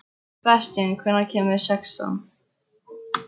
Sebastían, hvenær kemur sexan?